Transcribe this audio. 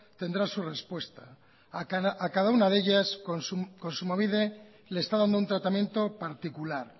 tendrá su respuesta a cada una de ellas kontsumobide le está dando un tratamiento particular